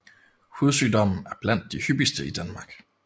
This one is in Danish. Hudsygdommen er blandt de hyppigste i Danmark